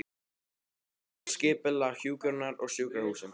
Aðferðir og skipulag hjúkrunar á sjúkrahúsum